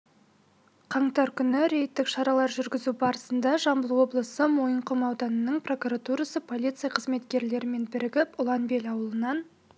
қаңтар күні рейдтік шаралар жүргізу барысында жамбыл облысы мойынқұм ауданының прокуратурасы полиция қызметкерлерімен бірігіп ұланбел ауылынан